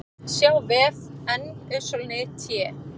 sjá vef NYT